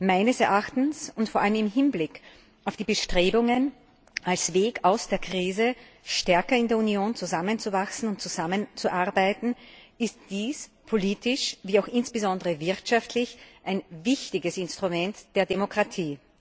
Meines Erachtens und vor allem im Hinblick auf die Bestrebungen, als Weg aus der Krise stärker in der Union zusammenzuwachsen und zusammenzuarbeiten, ist dies politisch, wie auch insbesondere wirtschaftlich, ein wichtiges Instrument der Demokratie.